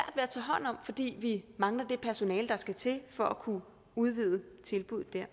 at tage hånd om fordi vi mangler det personale der skal til for at kunne udvide tilbuddet der